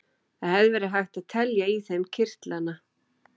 Það hefði verið hægt að telja í þeim kirtlana.